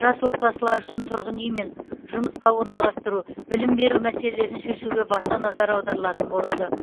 жас отбасылар үшін тұрғын үймен жұмысқа орналастыру білім беру мәселелерін шешуге баса назар аударылатын болады